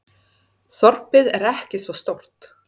Þorpið er ekki svo stórt.